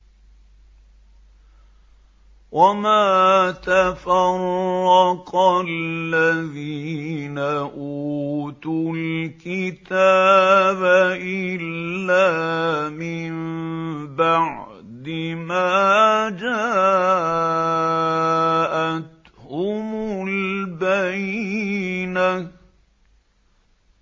وَمَا تَفَرَّقَ الَّذِينَ أُوتُوا الْكِتَابَ إِلَّا مِن بَعْدِ مَا جَاءَتْهُمُ الْبَيِّنَةُ